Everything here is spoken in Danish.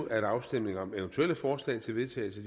at afstemning om eventuelle forslag til vedtagelse